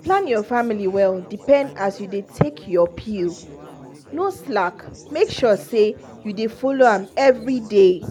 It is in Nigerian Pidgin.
to plan your family well depend as you dey take your pill. no slack make sure say you dey follow am every day!